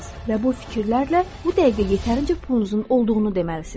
Və bu fikirlərlə bu dəqiqə yetərincə pulunuzun olduğunu deməlisiniz.